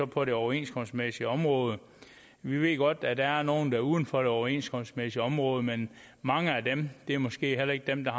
på det overenskomstmæssige område vi ved godt at der er nogle der er uden for det overenskomstmæssige område men mange af dem er måske heller ikke dem der